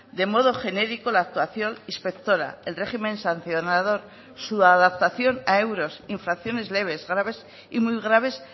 de modo genérico la actuación inspectora el régimen sancionador su adaptación a euros infracciones leves graves y muy graves